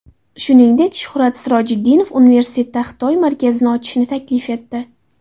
Shuningdek, Shuhrat Sirojiddinov universitetda Xitoy markazini ochishni taklif etdi.